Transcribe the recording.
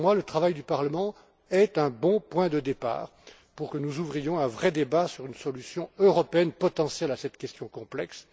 Pour moi, le travail du Parlement est un bon point de départ pour que nous ouvrions un vrai débat sur une solution européenne potentielle à cette question complexe.